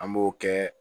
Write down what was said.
An b'o kɛ